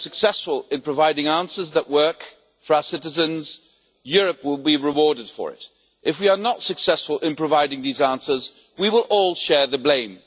If we are successful in providing answers that work for our citizens, Europe will be rewarded for it. If we are not successful in providing these answers we will all share the blame.